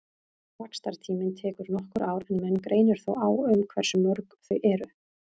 Vaxtartíminn tekur nokkur ár en menn greinir þó á um hversu mörg þau eru.